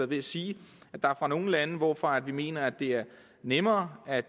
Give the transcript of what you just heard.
ved at sige at der er nogle lande hvorfra vi mener det er nemmere at